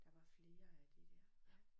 Der var flere af de der ja